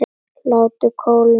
Látið kólna aðeins.